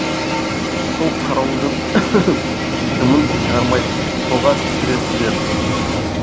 сол қарауылдың дымын шығармай қолға түсіресіздер